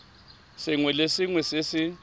sengwe le sengwe se se